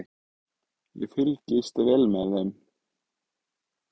Ég fylgist vel með þeim.